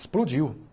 Explodiu.